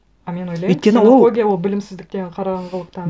а мен ойлаймын өйткені ол ол білімсіздіктен қараңғылықтан